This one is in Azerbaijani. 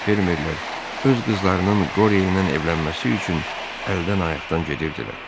fermerlər öz qızlarının qoryə ilə evlənməsi üçün əldən ayaqdan gedirdilər.